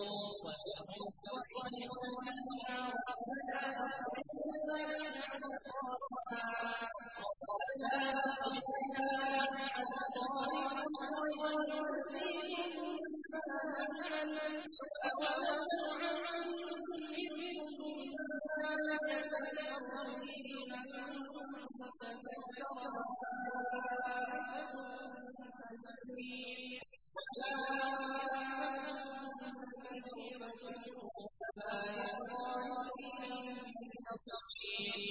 وَهُمْ يَصْطَرِخُونَ فِيهَا رَبَّنَا أَخْرِجْنَا نَعْمَلْ صَالِحًا غَيْرَ الَّذِي كُنَّا نَعْمَلُ ۚ أَوَلَمْ نُعَمِّرْكُم مَّا يَتَذَكَّرُ فِيهِ مَن تَذَكَّرَ وَجَاءَكُمُ النَّذِيرُ ۖ فَذُوقُوا فَمَا لِلظَّالِمِينَ مِن نَّصِيرٍ